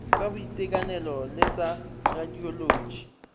tsa boitekanelo le tsa radioloji